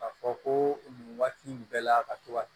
A fɔ ko nin waati in bɛɛ la ka to ka